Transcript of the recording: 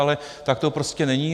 Ale tak to prostě není.